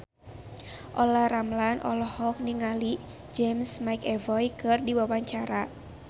Olla Ramlan olohok ningali James McAvoy keur diwawancara